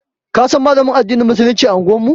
Ka san Malamin addinin Musuluncin unguwar mu.